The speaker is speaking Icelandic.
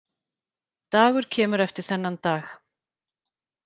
Dagur kemur eftir þennan dag.